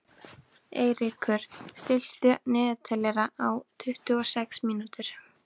Eiríkur, stilltu niðurteljara á tuttugu og sex mínútur.